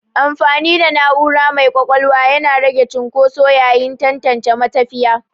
Amfani da na'ura mai ƙwaƙwalwa yana rage cunƙoso yayin tantance matafiya.